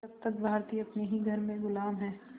जब तक भारतीय अपने ही घर में ग़ुलाम हैं